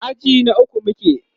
aji na ukwu muke